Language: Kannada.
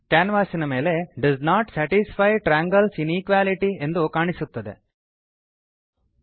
ಕ್ಯಾನ್ವಾಸಿನ ಮೇಲೆ does not satisfy triangles inequality does not satisfy triangles inequality ಎಂದು ಕಾಣಿಸುತ್ತದೆ